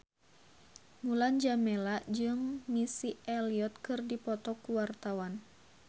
Mulan Jameela jeung Missy Elliott keur dipoto ku wartawan